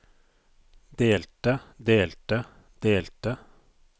delte delte delte